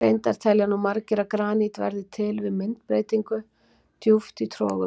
Reyndar telja nú margir að granít verði til við myndbreytingu djúpt í trogum.